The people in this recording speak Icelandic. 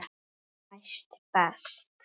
Næst best.